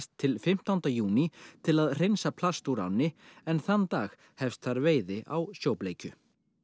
til fimmtánda júní til að hreinsa plast úr ánni en þann dag hefst þar veiði á sjóbleikju